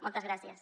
moltes gràcies